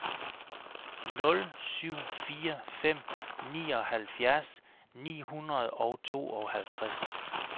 nul syv fire fem nioghalvfjerds ni hundrede og tooghalvtreds